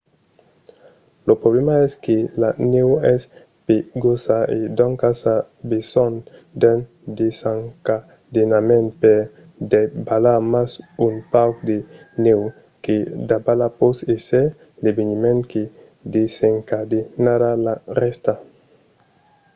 lo problèma es que la nèu es pegosa e doncas a besonh d'un desencadenament per davalar mas un pauc de nèu que davala pòt èsser l'eveniment que desencadenarà la rèsta